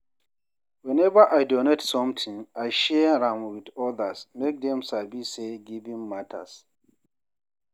Whenever I donate something, I share am with others make dem sabi say giving matters.